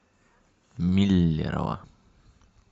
миллерово